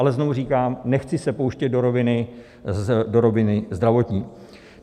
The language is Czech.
Ale znovu říkám, nechci se pouštět do roviny zdravotní.